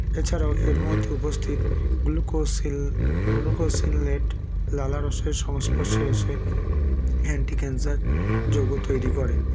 এছাড়াও এর মধ্যে উপস্থিত glucocil glucosilnet লালারসের সংস্পর্শে এসে anticancer যৌগ তৈরি করে